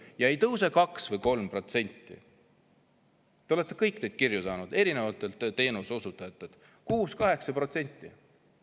Ja ei tõuse 2% või 3% – te olete kõik neid kirju saanud erinevatelt teenuseosutajatelt –, vaid 6–8%.